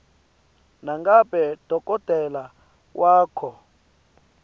nangabe dokotela wakho